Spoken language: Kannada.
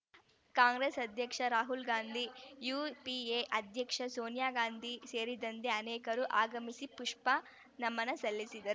ಕಾಂಗ್ರೆಸ್‌ ಅಧ್ಯಕ್ಷ ರಾಹುಲ್‌ ಗಾಂಧಿ ಯುಪಿಎ ಅಧ್ಯಕ್ಷ ಸೋನಿಯಾ ಗಾಂಧಿ ಸೇರಿದಂತೆ ಅನೇಕರು ಆಗಮಿಸಿ ಪುಷ್ಪನಮನ ಸಲ್ಲಿಸಿದರು